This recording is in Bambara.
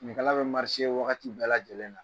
Finikala bɛ wagati bɛɛ lajɛlen na.